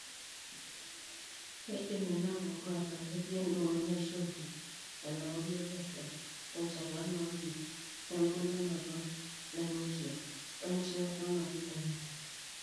Keidim inaapuku aataa ketii endung'on eshumbi, enauri epesho, enchalan oompit, embulunoto naimutie oenchetunoto naimutie.